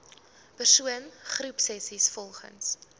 persoon groepsessies volgens